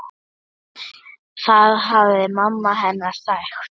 Það hafði mamma hennar sagt.